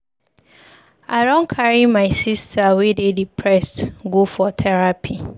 I don carry my sista wey dey depressed go for terapi.